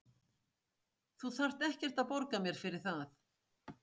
Þú þarft ekkert að borga mér fyrir það.